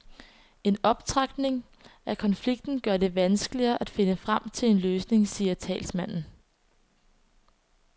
En optrapning af konflikten gør det vanskeligere at finde frem til en løsning, siger talsmanden.